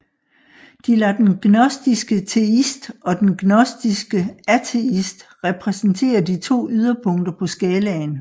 De lader den gnostiske teist og den gnostiske ateist repræsentere de to yderpunkter på skalaen